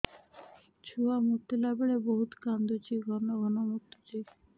ଛୁଆ ମୁତିଲା ବେଳେ ବହୁତ କାନ୍ଦୁଛି ଘନ ଘନ ମୁତୁଛି